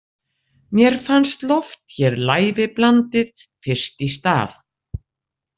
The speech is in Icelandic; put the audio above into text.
Mér fannst loft hér lævi blandið fyrst í stað.